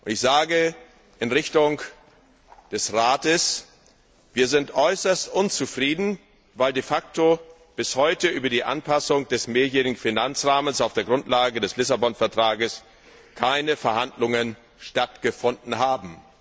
Ich sage in Richtung des Rates Wir sind äußerst unzufrieden, weil de facto bis heute über die Anpassung des Mehrjährigen Finanzrahmens auf der Grundlage des Lissabon Vertrages keine Verhandlungen stattgefunden haben.